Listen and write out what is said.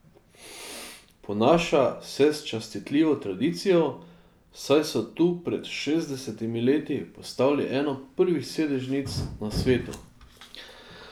Ponaša se s častitljivo tradicijo, saj so tu pred šestdesetimi leti postavili eno prvih sedežnic na svetu!